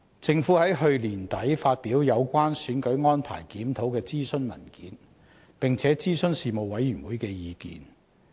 政府在去年年底發表有關"選舉安排檢討"的諮詢文件，並且諮詢事務委員會的意見。